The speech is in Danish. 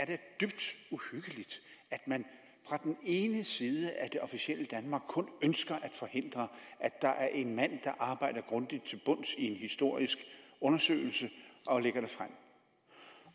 dybt uhyggeligt at man fra den ene side af det officielle danmark kun ønsker at forhindre at der er en mand der arbejder grundigt til bunds i en historisk undersøgelse og lægger